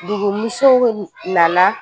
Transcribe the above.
Dugumusow nana